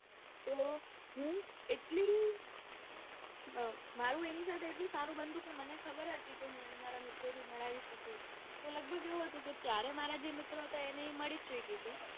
તો હું એટલી મારુ એની સાથે એટલું સારું બનતું કે મને ખબર હતી કે એને હું મારા મિત્રોથી મેળવી શકું તો લઘભગ ત્યારે એવું હતું કે ત્યારે જે મારા મિત્રો હતા એને એ મળી જ ચુકી હતી.